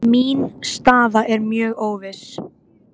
Mín staða er mjög óviss